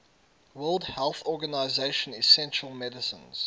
world health organization essential medicines